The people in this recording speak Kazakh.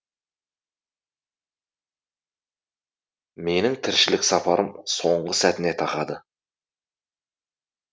менің тіршілік сапарым соңғы сәтіне тақады